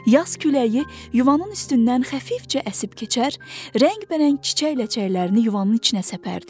Yas küləyi yuvanın üstündən xəfifcə əsib keçər, rəngbərəng çiçək ləçəklərini yuvanın içinə səpərdi.